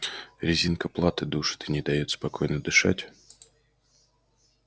резинка платы душит и не даёт спокойно дышать